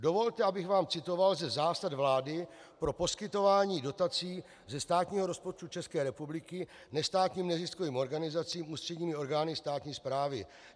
Dovolte, abych vám citoval ze zásad vlády pro poskytování dotací ze státního rozpočtu České republiky nestátním neziskovým organizacím ústředními orgány státní správy.